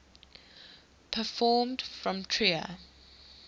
people from trier